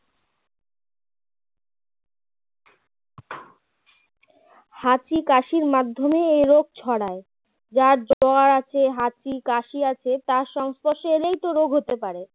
হাঁচি কাশির মাধ্যমে এই রোগ ছড়ায় যার জ্বর আছে হাঁচি কাশি আছে তার সংস্পর্শে এলেই তো রোগ হতে পারে